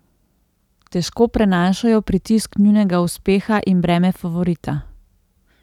Težko prenašajo pritisk nujnega uspeha in breme favorita.